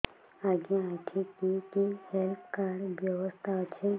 ଆଜ୍ଞା ଏଠି କି କି ହେଲ୍ଥ କାର୍ଡ ବ୍ୟବସ୍ଥା ଅଛି